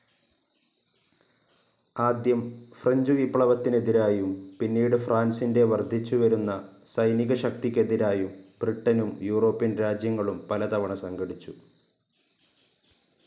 ആദ്യം ഫ്രഞ്ച്‌ വിപ്ലവത്തിനെതിരായും പിന്നീട് ഫ്രാൻസിന്റെ വർദ്ധിച്ചു വരുന്ന സൈനികശക്തിക്കെതിരായും ബ്രിട്ടനും യൂറോപ്യൻ രാജ്യങ്ങളും പലതവണ സംഘടിച്ചു.